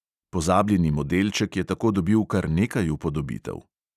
Pozabljeni modelček je tako dobil kar nekaj upodobitev.